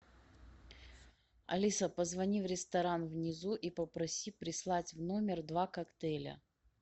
алиса позвони в ресторан внизу и попроси прислать в номер два коктейля